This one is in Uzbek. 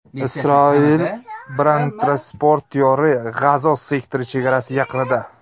Isroil bronetransportyori G‘azo sektori chegarasi yaqinida.